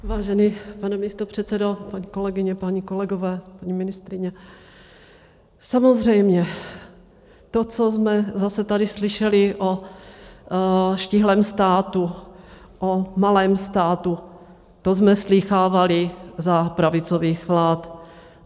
Vážený pane místopředsedo, paní kolegyně, páni kolegové, paní ministryně, samozřejmě to, co jsme zase tady slyšeli o štíhlém státu, o malém státu, to jsme slýchávali za pravicových vlád.